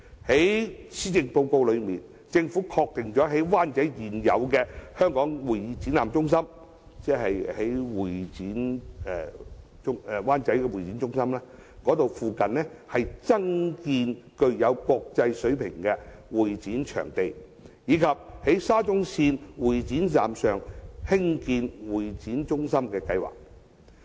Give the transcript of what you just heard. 在施政報告中，政府確定了在灣仔現有的香港會議展覽中心附近，增建具有國際水平的會展場地，以及在沙中線會展站上興建會議中心的計劃。